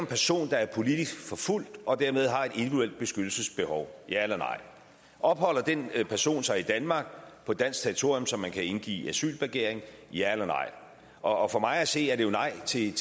person der er politisk forfulgt og dermed har et individuelt beskyttelsesbehov ja eller nej opholder den person sig i danmark på dansk territorium så man kan indgive asylbegæring ja eller nej og for mig at se er det jo nej til